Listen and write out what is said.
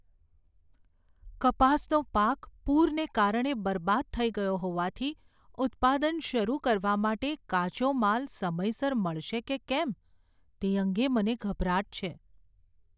કપાસનો પાક પૂરને કારણે બરબાદ થઈ ગયો હોવાથી ઉત્પાદન શરૂ કરવા માટે કાચો માલ સમયસર મળશે કે કેમ તે અંગે મને ગભરાટ છે.